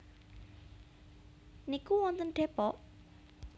niku wonten Depok?